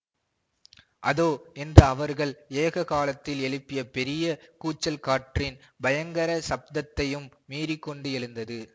அதோ என்று அவர்கள் ஏககாலத்தில் எழுப்பிய பெரிய கூச்சல் காற்றின் பயங்கரச் சப்தத்தையும் மீறிக்கொண்டு எழுந்தது